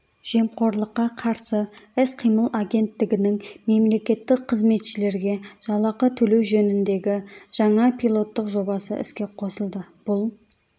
жемқорлыққа қарсы іс-қимыл агенттігінің мемлекеттік қызметшілерге жалақы төлеу жөніндегі жаңа пилоттық жобасы іске қосылды бұл